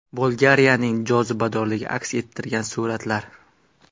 Bolgariyaning jozibadorligini aks ettirgan suratlar .